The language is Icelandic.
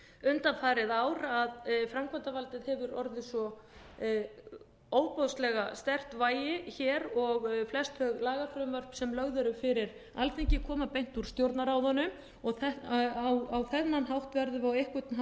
undanfarið ár að framkvæmdavaldið hefur orðið svo ofboðslega sterkt vægi hér og flest þau lagafrumvörp sem lögð eru fyrir alþingi koma beint úr stjórnarráðinu á þennan hátt verðum við á einhvern hátt